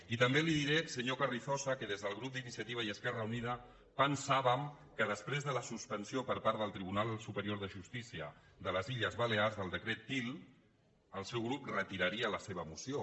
i també li diré senyor carrizosa que des del grup d’iniciativa i esquerra unida pensàvem que després de la suspensió per part del tribunal superior de justícia de les illes balears del decret til el seu grup retiraria la seva moció